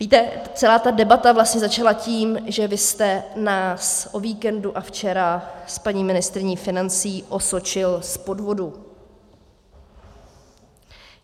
Víte, celá ta debata vlastně začala tím, že vy jste nás o víkendu a včera s paní ministryní financí osočil z podvodu.